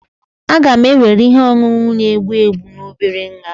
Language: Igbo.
a ga-ewere ihe ọṅụṅụ na-egbu egbu na obere nha